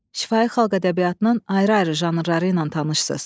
Şifahi xalq ədəbiyyatının ayrı-ayrı janrları ilə tanışsız.